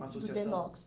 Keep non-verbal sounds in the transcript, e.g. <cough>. Uma associação. <unintelligible>